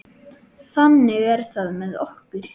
Þannig er það með okkur.